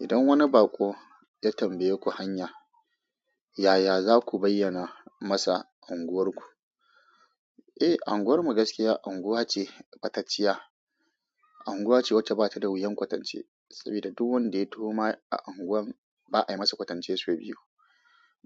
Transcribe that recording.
Idan wani baƙo ya tambayeku hanya, yaya za ku bayyana masa unguwarku? Eh, unguwarmu gaskiya unguwa ce ɓatacciya. Unguwa ce wacce bata da wuyan kwatance saboda duk wanda ya turo ma a unguwar ba a masa kwatance sau biyu.